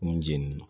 Nun jeni na